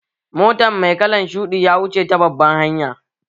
Motan mai kalan shuɗi ya wuce ta babban hanya